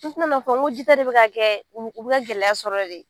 N filɛ lo fɔ ko ji taa de bɛ ka kɛ u b u bɛ ka gɛlɛya sɔrɔ de.